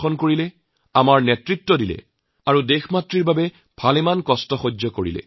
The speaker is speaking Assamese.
আমাক আগুৱাই যোৱাৰ পথ দেখুৱাইছিল আৰু দেশৰ বাবে তেওঁলোকে বহু কষ্ট সহ্য কৰিছিল